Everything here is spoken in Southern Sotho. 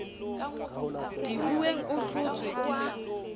dihuweng o hlotswe o a